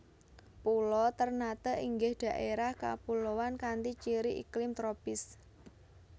Pulo Ternate inggih dhaerah kapuloan kanthi ciri iklim tropis